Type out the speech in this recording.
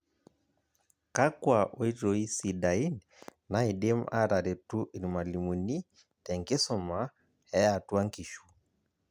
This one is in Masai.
Kakua oitoi sidain naidim ataretu irmalimuni te nkisuma eatua nkishu?